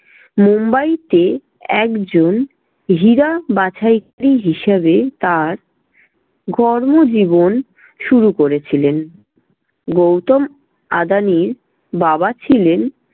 মোম্বাইতে একজন হীরা বাছাইকারি হিসেবে তার কর্মজীবন শুরু করেছিলেন। গৌতম আদানির বাবা ছিলেন